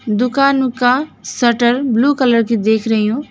दुकान का shutter blue colour की देख रही हूं।